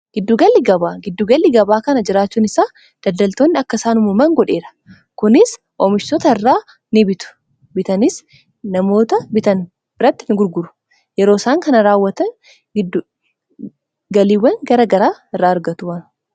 giddu galli gabaa kana jiraachuun isaa daddaltoonni akkasaanumuman godheera kunis oomishota irraa ni bitu bitanis namoota bitan birratti hin gurguru yeroo isaan kana raawwatan giddgaliiwwan gara garaa irra argatu